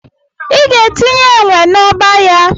Ị ga-etinye enwe na-ọba ya.